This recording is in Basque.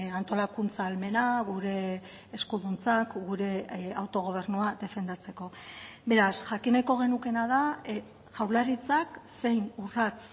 antolakuntza ahalmena gure eskuduntzak gure autogobernua defendatzeko beraz jakin nahiko genukeena da jaurlaritzak zein urrats